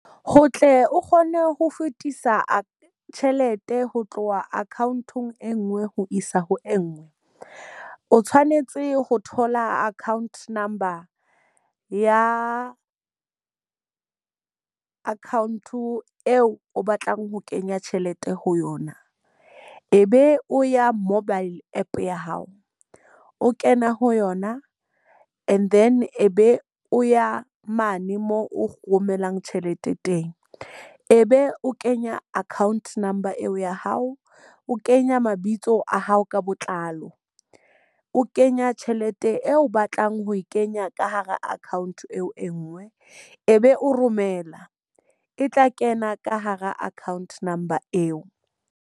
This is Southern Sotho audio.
Ho tle o kgone ho fetisa tjhelete ho tloha account-ong e nngwe ho isa ho e nngwe. O tshwanetse ho thola account number ya account eo o batlang ho kenya tjhelete ho yona. E be o ya mobile App ya hao, o kena ho yona. And then e be o ya mane mo o romelang tjhelete teng. E be o kenya account number eo ya hao, o kenya mabitso a hao ka botlalo, o kenya tjhelete eo o batlang ho e kenya ka hara account eo e nngwe, e be o romela e tla kena ka hara account number eo.